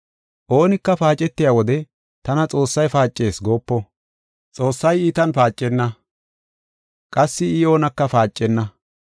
Oonika paacetiya wode, “Tana Xoossay paacees” goopo. Xoossay iitan paacetenna; qassi I oonaka paacenna.